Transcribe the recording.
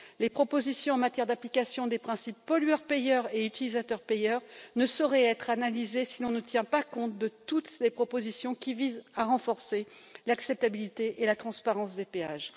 Les propositions en matière d'application des principes du pollueur payeur et de l'utilisateur payeur ne sauraient être analysées sans tenir compte de toutes les propositions qui visent à renforcer l'acceptabilité et la transparence des péages.